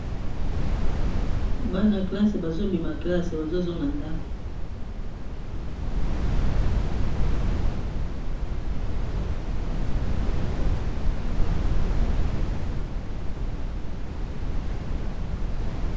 bana classe bazobima classe bazozonga ndanko